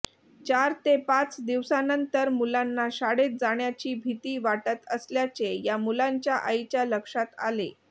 चार ते पाच दिवसानंतर मुलांना शाळेत जाण्याची भिती वाटत असल्याचे या मुलांच्या आईच्या लक्षात आले